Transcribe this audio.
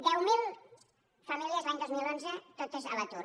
deu mil famílies l’any dos mil onze totes a l’atur